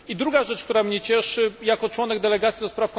I druga rzecz, która mnie cieszy jako członek delegacji ds.